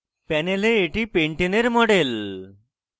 panel এটি pentane pentane এর model